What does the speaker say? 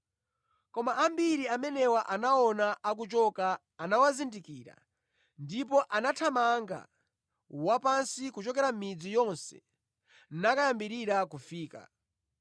Koma ambiri amene anawaona akuchoka anawazindikira ndipo anathamanga wapansi kuchokera mʼmidzi yonse nakayambirira kufika.